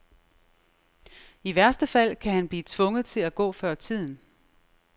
I værste fald kan han blive tvunget til at gå før tiden.